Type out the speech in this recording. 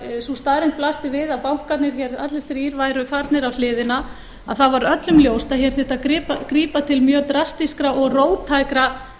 sú staðreynd blasti við að bankarnir hér allir þrír væru farnir á hliðina þá var öllum ljóst að hér þyrfti að grípa til mjög drastískra og róttækra